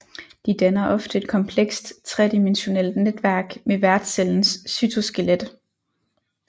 De danner ofte et komplekst tredimensionalt netværk med værtscellens cytoskelet